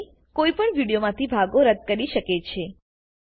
આ રીતે કોઈપણ વિડીયોમાંથી ભાગો રદ્દ કરી શકે છે